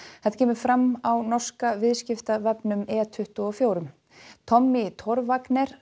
þetta kemur fram á norska e tuttugu og fjögur tommy Torvanger